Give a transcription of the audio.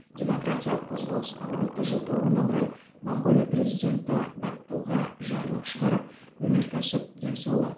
демократиялық қозғалысқа отыз жыл толуына орай моңғолия президенті баттулга жарлық шығарып өнеркәсіп денсаулық